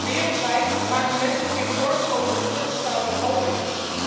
Wereldwijd maken mensen zich zorgen over het voortbestaan van walvissen.